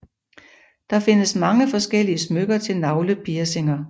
Der findes mange forskellige smykker til navlepiercinger